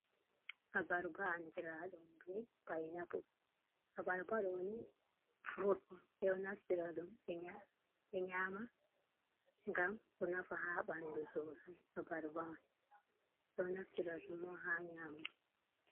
Abarba andiraɗum be paina pul, abarba ɗo ni furut on ɓe ɗo naftira ɗum ɓe nƴa ɓe nyaama ngam ɗo naafa ha ɓandu sosai abarba man ɗon naftira ɗum on ha nyaamugo.